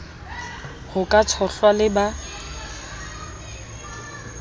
ho ka tshohlwa le ba